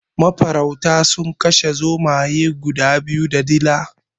Mafarauta sun kashe zomaye guda biyu da dila.